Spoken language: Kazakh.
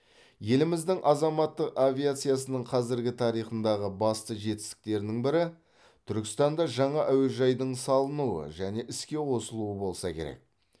еліміздің азаматтық авиациясының қазіргі тарихындағы басты жетістіктерінің бірі түркістанда жаңа әуежайдың салынуы және іске қосылуы болса керек